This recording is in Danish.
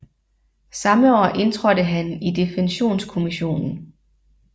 Samme år indtrådte han i Defensionskommissionen